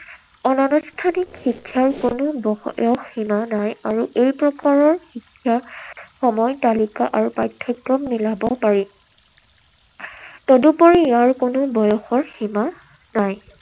অনানুষ্ঠানিক শিক্ষাৰ কোনো বয়সৰ সীমা নাই আৰু এই প্ৰকাৰৰ শিক্ষাত সময় তালিকা আৰু পাঠ্যক্ৰম মিলাব পাৰি। তদুপৰি ইয়াৰ কোনো বয়সৰ সীমা নাই।